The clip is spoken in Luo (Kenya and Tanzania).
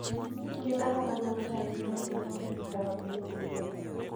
Gin ang'o madwarore ahinya ni inon e od nyithi gwen?